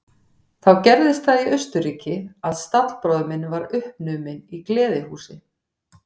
Þá gerðist það í Austurríki að stallbróðir minn varð uppnuminn í gleðihúsi.